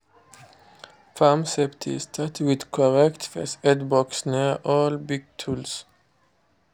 farm safety start with correct first aid box near all big tools.